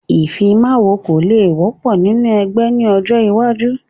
Ìfimawo kò le wọ́pọ̀ nínú ẹgbẹ́ ni ọjọ́ iwájú